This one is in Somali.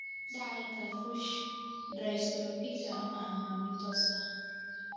Dhaxalka Fuchs dystrophyka ma aha mid toos ah.